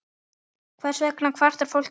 Hvers vegna kvartar fólk ekki?